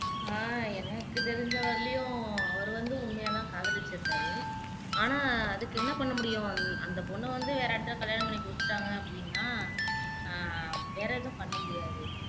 ஆஹ் எனக்கு தெரிஞ்ச வரையிலையும் அவரு வந்து உண்மையாதான் காதலிச்சிருக்காறு ஆனா அதுக்கு என்ன பண்ணமுடியும் அந்த பொண்ண வந்து வேற யார்டயாவது வந்து கல்யாணம் பண்ணி கொடுத்துட்டாங்க அப்படின்னா ஆஹ் வேற எதுவும் பண்ண முடியாது